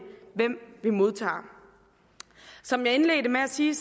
hvem vi modtager som jeg indledte med at sige